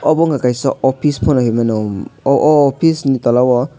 obo wngka kaisa office poto hingmano o office ni tola o.